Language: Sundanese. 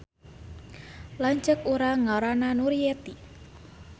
Lanceuk urang ngaranna Nuryeti